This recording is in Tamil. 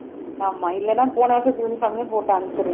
ஆமா இல்லேன்னா போன வருஷத்து uniform ஏ போட்டு அனுப்பிச்சரலாம்